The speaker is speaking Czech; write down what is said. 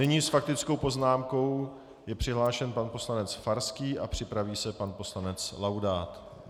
Nyní s faktickou poznámkou je přihlášen pan poslanec Farský a připraví se pan poslanec Laudát.